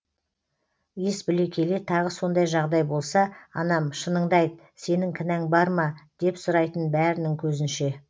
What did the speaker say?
ес біле келе тағы сондай жағдай болса анам шыныңды айт сенің кінәң бар ма деп сұрайтын бәрінің көзінше